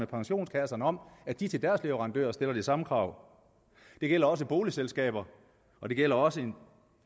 pensionskasserne om at de til deres leverandører stiller de samme krav det gælder også boligselskaber og det gælder også